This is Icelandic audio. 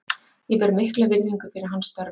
Ég ber mikla virðingu fyrir hans störfum.